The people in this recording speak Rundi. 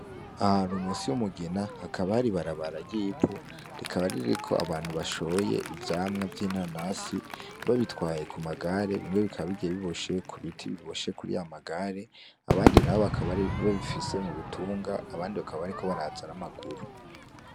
Ahantu munsi w'umugina hakabari barabara yipu rikabaririko abantu bashoye ivyamwa vy'intanasi babitwaye ku magare binge bikabigiye biboshe ku biti biboshe kuri yamagare abandi na bo bakabari babifise mu bitunga abandi bakabariko barazan'amaguru.